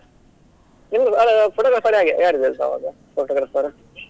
ಹಾಗೆ photographer ಹಾಗೆ ಯಾರಿದ್ದಾರೆ ಸಮದ್ದು photographer ?